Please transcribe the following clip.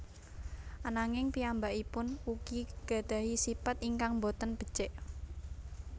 Ananging piyambakipun ugi nggadhahi sipat ingkang boten becik